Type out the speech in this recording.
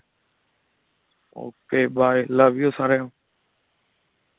Okay bye, love you ਸਾਰਿਆਂ ਨੂੰ।